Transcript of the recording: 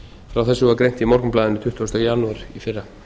frá þessu var greint í morgunblaðinu tuttugasta janúar í fyrra